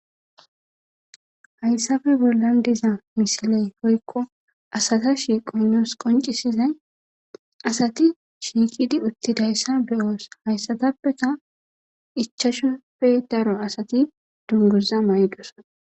hayssafe bollan diza misiley hoykko asata shiqoynoos qoncisizay asati shiikidi uttidayssa beyoos hayssatappeka ichashupe daro asati dunguza may7dosana